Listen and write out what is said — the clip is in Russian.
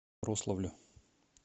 рославлю